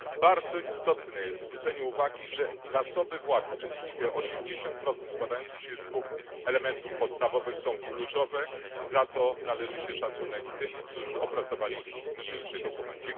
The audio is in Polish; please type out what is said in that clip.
Bardzo istotne jest zwrócenie uwagi, że zasoby własne, czyli te 80 składające się z dwóch elementów podstawowych, są kluczowe i za to należy się szacunek tym, którzy opracowali niniejszy dokument.